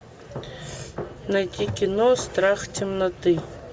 найти кино страх темноты